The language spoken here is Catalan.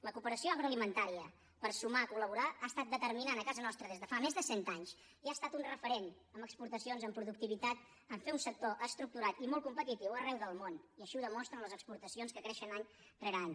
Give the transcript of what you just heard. la cooperació agroalimentària per sumar col·laborar ha estat determinant a casa nostra des de fa més de cent anys i ha estat un referent en exportacions en productivitat en fer un sector estructurat i molt competitiu arreu del món i així ho demostren les exportacions que creixen any rere any